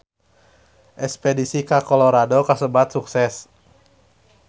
Espedisi ka Colorado kasebat sukses